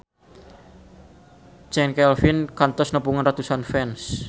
Chand Kelvin kantos nepungan ratusan fans